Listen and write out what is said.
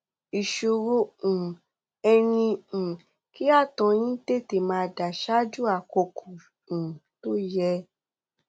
ìṣòro um ẹ ni um kí ààtọ yín tètè máa dà ṣáájú àkókò um tó yẹ